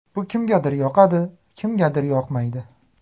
Bu kimgadir yoqadi, kimgadir yoqmaydi.